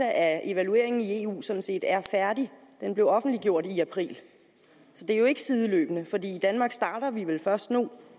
at evalueringen i eu sådan set er færdig den blev offentliggjort i april så det er jo ikke sideløbende for i danmark starter vi vel først nu